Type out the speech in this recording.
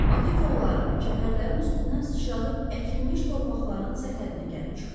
Ata kolların, çəpərlərin üstündən sıçradıb əkilmiş torpaqların sərhədinə gəlib çıxdım.